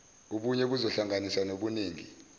ubunye buzohlanganisa nobuningi